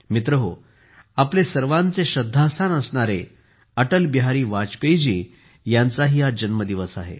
मित्रहो आपले सर्वांचे श्रद्धास्थान असणारे अटल बिहारी वाजपेयी जी यांचाही आज जन्मदिवस आहे